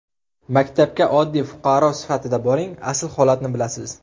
Maktabga oddiy fuqaro sifatida boring, asl holatni bilasiz.